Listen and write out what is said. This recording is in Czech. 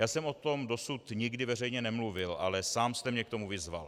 Já jsem o tom dosud nikdy veřejně nemluvil, ale sám jste mě k tomu vyzval.